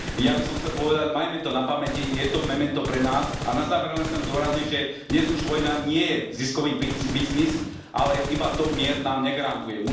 Ja by som chcel povedať majme to na pamäti, je to memento pre nás a na záver len chcem zdôrazniť, že dnes už vojna nie je ziskový biznis, ale iba to mier nám negarantuje.